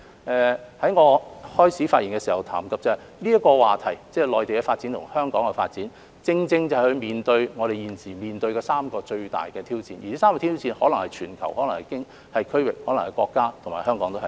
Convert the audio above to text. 我在開始發言時談到，內地和香港的發展這個話題正正就是我們現時面對的3個最大的挑戰，可能是全球、區域、國家或香港。